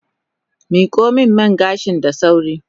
Miko min man gashin da sauri.